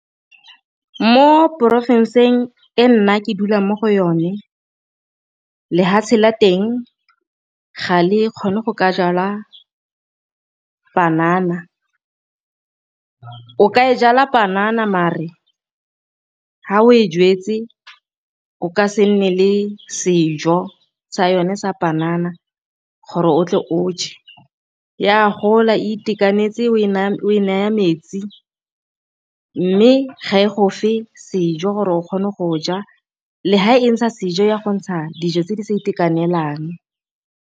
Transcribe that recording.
Mo porofenseng e nna ke dulang mo go yone lefatshe la teng ga le kgone go ka jalwa panana, o ka e jala panana marere fa o e jwetse o ka se nne le sejo sa yone sa panana gore o tle o je, ya gola itekanetse o e naya metsi mme ga e go fe sejo gore o kgone go ja le fa e ntsha sejo ya go ntsha dijo tse di sa itekanelang.